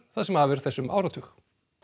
það sem af er þessum áratug